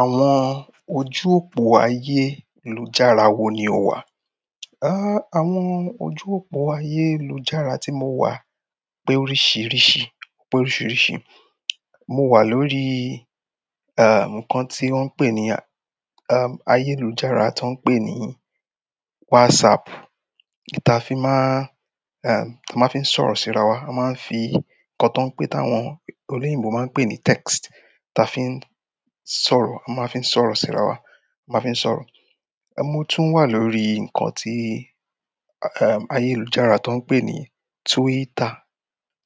Àwọn ojú òpó ayélujára wo ni o wà? Àwọn ojú òpó ayélujára tí mo wà pé oríṣìíríṣìí, pé oríṣìíríṣìí. Mo wà lórí, erm, nǹkan tí wón ń pè ní, erm, ayélujára tó ń pè ní WhatsApp. Ta fi má, erm, a máa ń fi sọ̀rọ̀ sí ara wa. A máa ń fi nǹkan tó ń pè táwọn olóyìnbo máa ń pè ní text. Ta fi ń sọ̀rọ̀, a máa ń fi sọ̀rọ̀ sí ara wa, a máa ń fi sọ̀rọ̀. Mo tún wà lórí nǹkan tí, erm, ayélujára tó ń pè ní Twitter.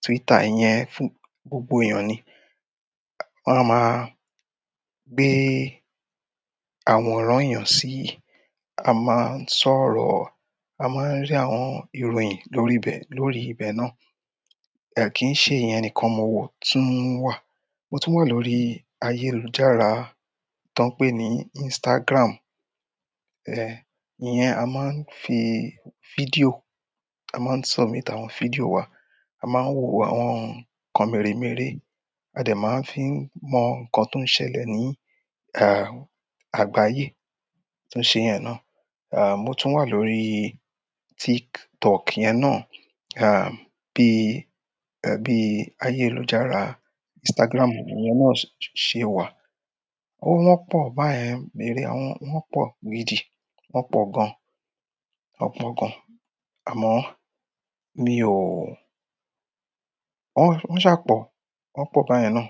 Twitter yẹn fún gbogbo èèyàn ni. Wón máa ń gbé àwòrán èèyàn sí, a máa ń sọ̀rọ̀, a máa ń rí àwọn ìròyìn lórí bẹ, lórí ibẹ̀ náà. Kii se iyen nìkan ni mo tun wa mo tún wà lórí ayélujára tó ń pè ní Instagram. E iyen a maa n fi fideo, a maa n sọ̀rọ̀ nípa àwọn fideo wa. A máa ń wo àwọn nǹkan mèremère. A dè máa ń fi mọ nǹkan tó ń ṣẹlẹ̀ ní, ah, àgbáyé. Tó ṣe yẹn náà. Erm, mo tún wà lórí TikTok yẹn náà. Erm, bí, ẹbí ayélujára Instagram yẹn náà ṣe wà. Ó wọ́n pọ̀ báyẹn mèremère, wọ́n pọ̀ gidi. Wọ́n pọ̀ gan. Wọ́n pọ̀ gan. Amo mi o won sa po. Wọ́n pọ̀ báyẹn náà.